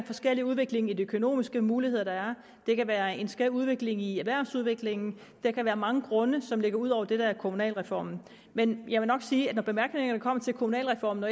forskellig udvikling i de økonomiske muligheder der er det kan være en skæv udvikling i erhvervsudviklingen der kan være mange grunde som ligger ud over det der ligger i kommunalreformen men jeg vil nok sige at når bemærkningerne kommer til kommunalreformen og